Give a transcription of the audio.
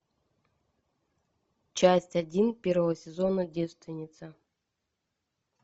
часть один первого сезона девственница